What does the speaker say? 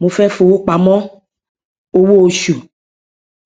mo fẹ fowópamọ owó oṣù